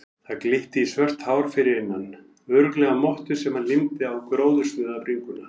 Það glitti í svört hár fyrir innan, örugglega mottu sem hann límdi á gróðursnauða bringuna.